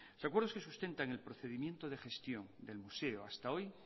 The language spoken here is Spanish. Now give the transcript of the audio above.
el acuerdo se sustenta en el procedimiento de gestión del museo hasta hoy